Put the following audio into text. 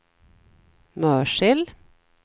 Mörsil